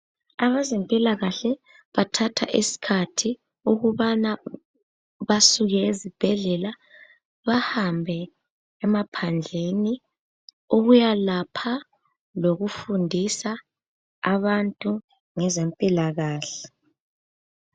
Abezempilakahle bathatha isikhathi ukuthi basuke ezibhedlela bahambe emaphandleni ukuyelapha lokufundisa abantu ngezempilakahle.